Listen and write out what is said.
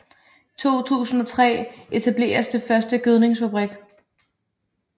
I 2003 etableres den første gødningsfabrik